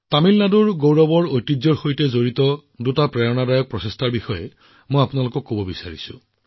তামিলনাডুৰ গৌৰৱময় ঐতিহ্যৰ সৈতে জড়িত দুটা অতি প্ৰেৰণাদায়ক প্ৰচেষ্টা আপোনালোকৰ লগত শ্বেয়াৰ কৰিব বিচাৰিছো